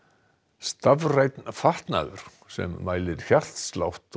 stafrænn fatnaður sem mælir hjartslátt og